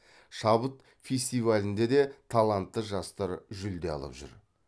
шабыт фестивалінде де талантты жастар жүлде алып жүр